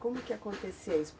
Como que acontecia isso?